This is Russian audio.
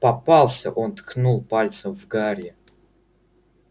попался он ткнул пальцем в гарри